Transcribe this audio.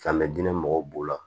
Fan bɛ diinɛ mɔgɔw b'o la